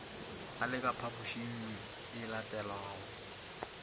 a le ka phaphošingye elatelago